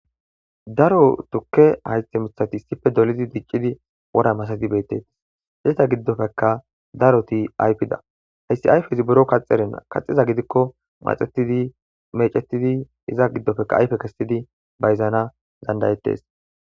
daro tukke haythe mithati issipe dolidi diccidi wora masazi beettettis hizeta giddofeka daroti ayfida haysi ayfezi buro kaxeren kaxiza gidikko maxetidi mecetidi iza giddofeka ayfe kessidi bayzana danda'ettes